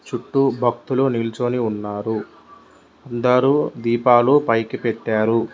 చుట్టూ భక్తులు నిల్చోని ఉన్నారు అందరూ దీపాలు పైకి పెట్టారు.